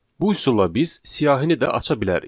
Bu üsulla biz siyahını da aça bilərik.